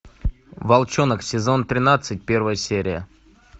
волчонок сезон тринадцать первая серия